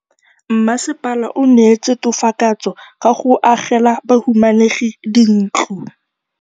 Mmasepala o neetse tokafatsô ka go agela bahumanegi dintlo.